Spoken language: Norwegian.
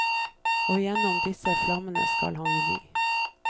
Og gjennom disse flammene skal han ri.